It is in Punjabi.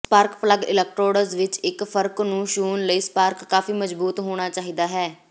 ਸਪਾਰਕ ਪਲੱਗ ਇਲੈਕਟ੍ਰੋਡਜ਼ ਵਿਚ ਇਕ ਫਰਕ ਨੂੰ ਛੂਹਣ ਲਈ ਸਪਾਰਕ ਕਾਫ਼ੀ ਮਜਬੂਤ ਹੋਣਾ ਚਾਹੀਦਾ ਹੈ